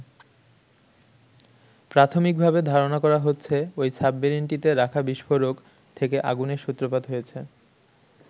প্রাথমিকভাবে ধারণা করা হচ্ছে ওই সাবমেরিনটিতে রাখা বিস্ফোরক থেকে আগুনের সূত্রপাত হয়েছে।